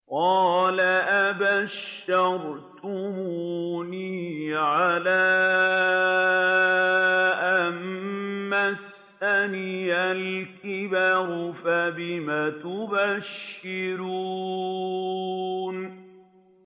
قَالَ أَبَشَّرْتُمُونِي عَلَىٰ أَن مَّسَّنِيَ الْكِبَرُ فَبِمَ تُبَشِّرُونَ